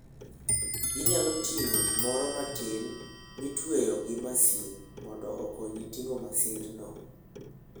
Inyalo ting'o gimoro matin mitweyo gi masin mondo okonyi ting'o masindno.